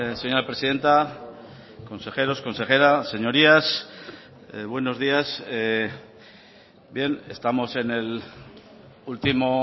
señora presidenta consejeros consejera señorías buenos días bien estamos en el último